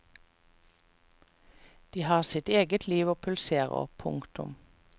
De har sitt eget liv og pulserer. punktum